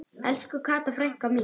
Elsku Kata frænka mín.